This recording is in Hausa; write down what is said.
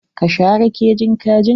Ka share kejin kajin?